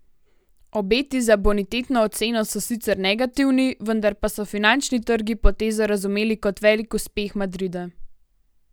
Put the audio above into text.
Obeti za bonitetno oceno so sicer negativni, vendar pa so finančni trgi potezo razumeli kot velik uspeh Madrida.